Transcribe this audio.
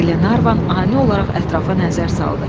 Qlenarvan ani olaraq ətrafa nəzər saldı.